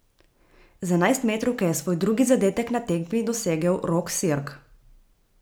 Z enajstmetrovke je svoj drugi zadetek na tekmi dosegel Rok Sirk!